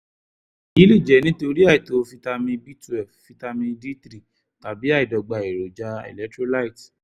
èyí lè jẹ́ nítorí àìtó fítámì b twelve fítámì d three tàbí àìdọ́gba èròjà electrolyte